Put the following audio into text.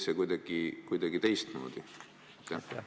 Või oli see kuidagi teistmoodi?